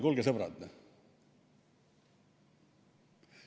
Kuulge, sõbrad!